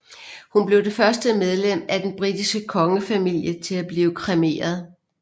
Hun blev det første medlem af den britiske kongefamilie til at blive kremeret